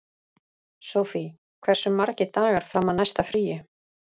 Sofie, hversu margir dagar fram að næsta fríi?